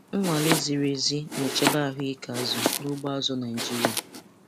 Nnwale ziri ezi na-echebe ahụike azụ n'ugbo azụ̀ Naịjiria.